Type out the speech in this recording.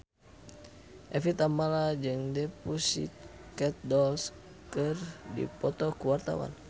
Evie Tamala jeung The Pussycat Dolls keur dipoto ku wartawan